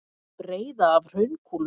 Breiða af hraunkúlum.